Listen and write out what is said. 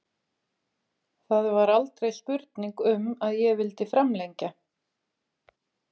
Það var aldrei spurning um að ég vildi framlengja.